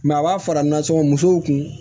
a b'a fara nansɔngɔ musow kun